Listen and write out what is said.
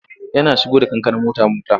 Yana shigo da kankana mota-mota.